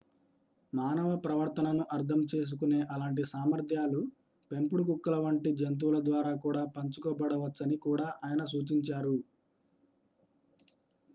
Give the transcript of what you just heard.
మానవ ప్రవర్తనను అర్థం చేసుకునే అలాంటి సామర్థ్యాలు పెంపుడు కుక్కల వంటి జంతువులద్వారా కూడా పంచుకోబడవచ్చని కూడా ఆయన సూచించారు